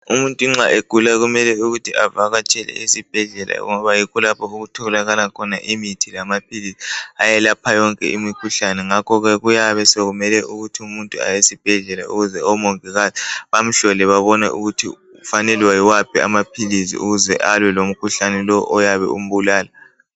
Umuntu nxa egula kumele ukuthi avakatshele esibhedlela ngoba yikho lapho okutholakala khona imithi lamaphilisi ayelapha yonke imikhuhlane ngakho ke kuyabe sokumele ukuthi umuntu aye esibhedlela ukuze omongikazi bamhlole babone ukuthi ufanelwe yiwaphi amaphilisi ukuze alwe lomkhuhlane lo oyabe umbulala.